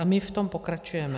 A my v tom pokračujeme.